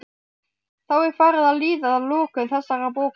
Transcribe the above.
Þá er farið að líða að lokum þessarar bókar.